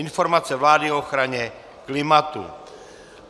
Informace vlády o ochraně klimatu